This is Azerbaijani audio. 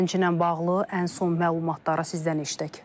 Gənclə bağlı ən son məlumatları sizdən eşitək.